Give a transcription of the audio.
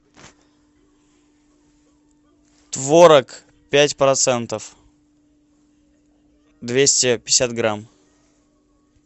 творог пять процентов двести пятьдесят грамм